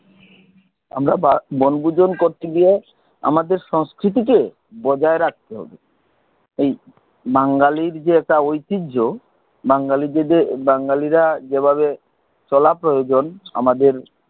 আমরা বনভোজন করতে গিয়ে আমাদের সংস্কৃতিকে বজায় রাখতে হবে ঐ বাঙালির যে একটা ঐতিহ্য বাঙ্গালীদের বাঙালিরা জেভাবে চলা প্রয়োজন আমাদের